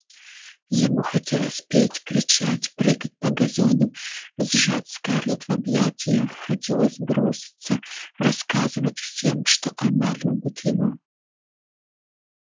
ему хотелось петь кричать прыгать по газону сжать скарлетт в объятиях хотелось броситься рассказывать всем что она любит его